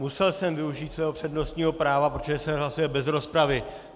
Musel jsem využít svého přednostního práva, protože se hlasuje bez rozpravy.